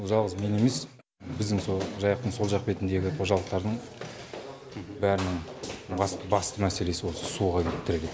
жалғыз мен емес біздің со жайықтың сол жақ бетіндегі қожалықтардың бәрінің басты мәселесі осы суға кеп тіреледі